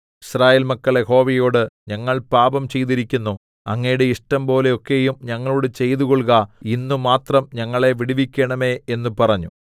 യിസ്രായേൽ മക്കൾ യഹോവയോട് ഞങ്ങൾ പാപം ചെയ്തിരിക്കുന്നു അങ്ങയുടെ ഇഷ്ടംപോലെയൊക്കെയും ഞങ്ങളോട് ചെയ്തുകൊൾക ഇന്ന് മാത്രം ഞങ്ങളെ വിടുവിക്കേണമേ എന്ന് പറഞ്ഞു